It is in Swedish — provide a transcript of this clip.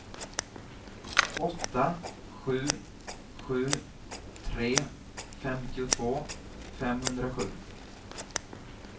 åtta sju sju tre femtiotvå femhundrasju